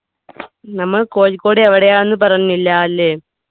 നമ്മൾ കോഴിക്കോട് എവിടെയാന്ന് പറഞ്ഞില്ലാലെ